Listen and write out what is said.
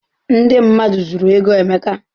Ndị mmadụ zuru ego Emeka.